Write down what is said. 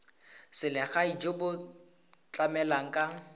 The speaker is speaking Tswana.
selegae jo bo tlamelang ka